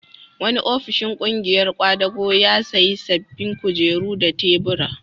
Wani ofishin ƙungiyar ƙwadago ya sayi sabbin kujeru da tubura.